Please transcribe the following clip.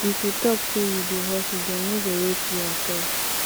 if you tok sey you dey hustle dem no go rate you at all